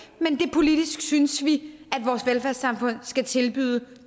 politisk synes vi at vores velfærdssamfund skal tilbyde det